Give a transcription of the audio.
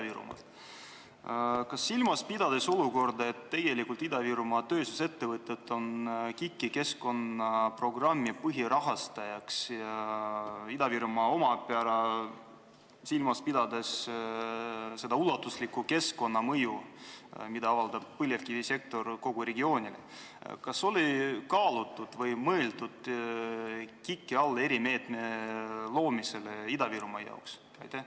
Pidades silmas olukorda, et Ida-Virumaa tööstusettevõtted on KIK-i keskkonnaprogrammi põhirahastajad, ja pidades silmas ka Ida-Virumaa omapära – seda ulatuslikku keskkonnamõju, mida avaldab põlevkivisektor kogu regioonile –, kas on mõeldud Ida-Virumaa jaoks erimeetme loomisele KIK-is?